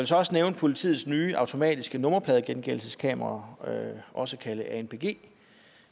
så også nævne politiets nye automatiske nummerpladegenkendelseskameraer også kaldet anpg